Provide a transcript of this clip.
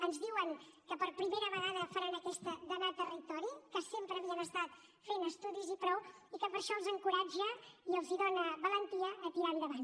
ens diuen que per primera vegada faran aquesta d’anar a territori que sempre havien estat fent estudis i prou i que això els encoratja i els dóna valentia a tirar endavant